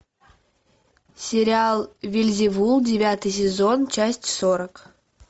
сериал вельзевул девятый сезон часть сорок